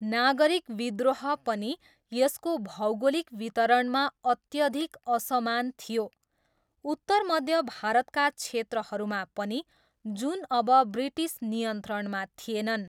नागरिक विद्रोह पनि यसको भौगोलिक वितरणमा अत्यधिक असमान थियो, उत्तरमध्य भारतका क्षेत्रहरूमा पनि, जुन अब ब्रिटिस नियन्त्रणमा थिएनन्।